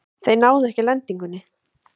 Þeir náðu ekki lendingunni.